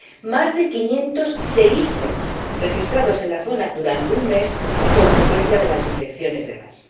más de 500 seísmos registrados en la zona durante un mes a consecuencia de las inyecciones de gas.